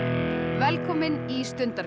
velkomin í